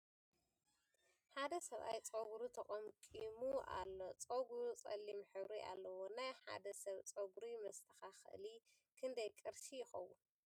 ሓደ ስብኣይ ፀጉሩ ተቀምኪሙ ኣሎ ። ፀጉሩ ፀሊም ሕብሪ ኣለዎ ። ናይ ሓደ ሰብ ፀጉሪ መስተካከሊ ክንደይ ቅርሽ ይከውን ?